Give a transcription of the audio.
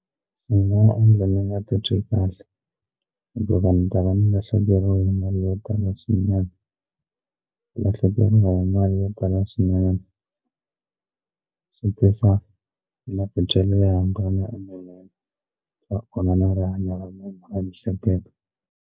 Wu nga endla ni nga ti twi kahle hikuva ni ta va ni lahlekeriwe hi mali yo tala swinene ku lahlekeriwa hi mali yo tala swinene swi tisa matitwelo yanga swa onha na rihanyo ra mina ra miehleketo.